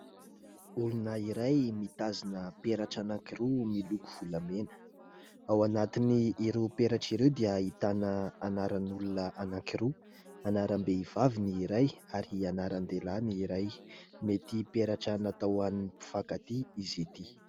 Olona iray mitazona peratra anankiroa miloko volamena ; ao anatin'ireo peratra ireo dia ahitana anaran'olona anankiroa : anaram-behivavy ny iray anaran-dehilahy ny iray. Mety peratra natao ho an'ny mpifankatia izy ity.